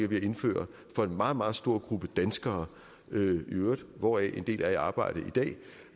ved at indføre for en meget meget stor gruppe danskere hvoraf en del er i arbejde i dag